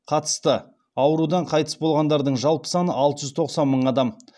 қатысты аурудан қайтыс болғандардың жалпы саны алты жүз тоқсан мың адам